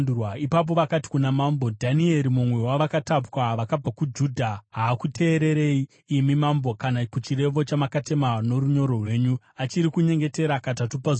Ipapo vakati kuna mambo, “Dhanieri, mumwe wavakatapwa vakabva Judha, haakuteererei, imi mambo, kana kuchirevo chamakatema norunyoro rwenyu. Achiri kunyengetera katatu pazuva.”